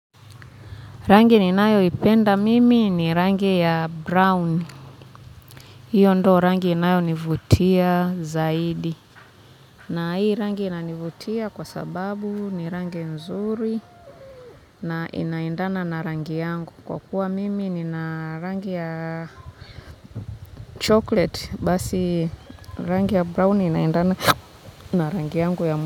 Rangi ninayoipenda mimi ni rangi ya brown hiyo ndo rangi inayo nivutia zaidi na hii rangi ina nivutia kwa sababu ni rangi nzuri na inaendana na rangi yangu kwa kuwa mimi nina rangi ya chocolate basi rangi ya brown inaendana na rangi yangu ya mimi.